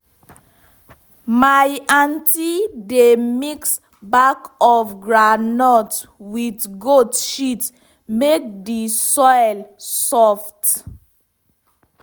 my aunty dey mix back of groundnut with goat shit make the soil soft.